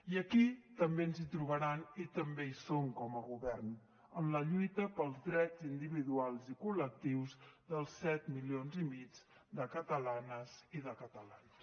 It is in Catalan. i aquí també ens hi trobaran i també hi som com a govern en la lluita pels drets individuals i col·lectius dels set milions i mig de catalanes i de catalans